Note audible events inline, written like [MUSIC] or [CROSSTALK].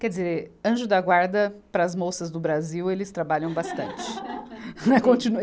Quer dizer, Anjo da Guarda, para as moças do Brasil, eles trabalham bastante. [LAUGHS] [UNINTELLIGIBLE]